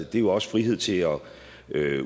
det er jo også frihed til at